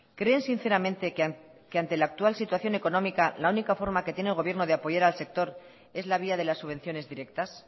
creen sinceramente que ante la actual situación económica la única forma que tiene el gobierno de apoyar al sector es la vía de las subvenciones directas